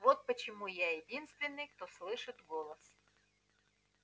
вот почему я единственный кто слышит голос